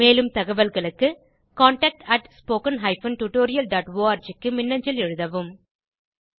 மேலும் தகவல்களுக்கு contactspoken tutorialorg க்கு மின்னஞ்சல் எழுதவும்